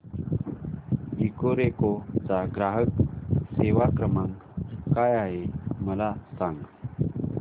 Ecoreco चा ग्राहक सेवा क्रमांक काय आहे मला सांग